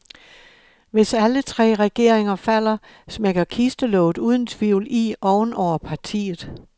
Hvis alle tre regeringer falder, smækker kistelåget uden tvivl i oven over partiet.